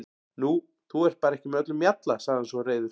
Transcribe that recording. Nú, þú ert bara ekki með öllum mjalla, sagði hann svo reiður.